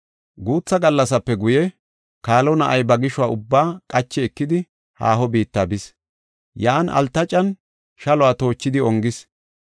Guutha gallasape guye, kaalo na7ay ba gishuwa ubbaa, qachi ekidi haaho biitta bis. Yan altacan shaluwa toochidi ongis.